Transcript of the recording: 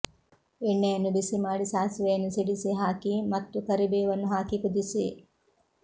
ಎಣ್ಣೆಯನ್ನು ಬಿಸಿಮಾಡಿ ಸಾಸಿವೆಯನ್ನು ಸಿಡಿಸಿ ಹಾಕಿ ಮತ್ತು ಕರಿಬೇವನ್ನು ಹಾಕಿ ಕುದಿಸಿ